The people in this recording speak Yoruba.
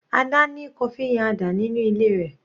Ada ní coffee Nyada nínú ilé rẹ̀.